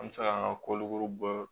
An bɛ se ka an ka koloko